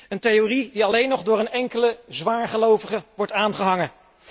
Een theorie die alleen nog door een enkele zwaargelovige wordt aangehangen.